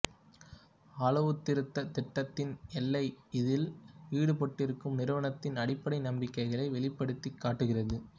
அளவுத்திருத்த திட்டத்தின் எல்லை இதில் ஈடுபட்டிருக்கும் நிறுவனத்தின் அடிப்படை நம்பிக்கைகளை வெளிப்படுத்திக் காட்டுகிறது